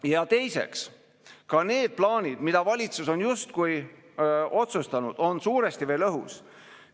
Ja teiseks, ka need plaanid, mida valitsus on justkui otsustanud, on suuresti veel õhus.